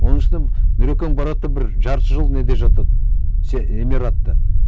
оның үстіне нұрекең барады да бір жарты жыл неде жатады эмиратта